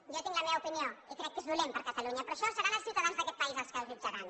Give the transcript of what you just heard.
jo tinc la meva opinió i crec que és dolent per a catalunya però això seran els ciutadans d’aquest país els que ho jutjaran